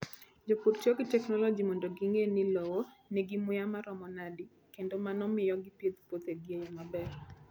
Jopur tiyo gi teknoloji mondo ging'e ni lowo nigi muya maromo nade, kendo mano miyo gipidh puothegi e yo maber.